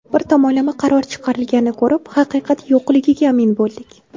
Bir tomonlama qaror chiqarishganini ko‘rib, haqiqat yo‘qligiga amin bo‘ldik.